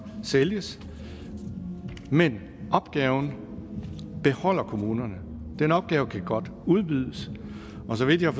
sælges men opgaven beholder kommunen den opgave kan godt udbydes og så vidt jeg